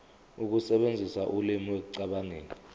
ukusebenzisa ulimi ekucabangeni